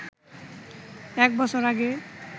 এক বছর আগে